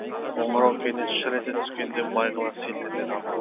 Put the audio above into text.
қоңырау кенет шыр ете түскенде бағила селт ете қалды